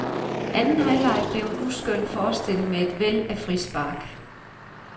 Anden halvleg blev en uskøn forestilling med et væld af frispark.